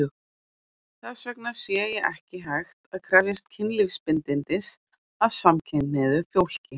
Þess vegna sé ekki hægt að krefjast kynlífsbindindis af samkynhneigðu fólki.